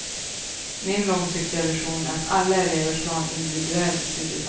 Min långsiktiga vision är att alla elever ska ha en individuell studieplan.